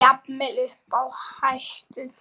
Jafnvel uppi á hæstu tindum.